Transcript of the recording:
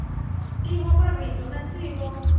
ntivo marito na ntivo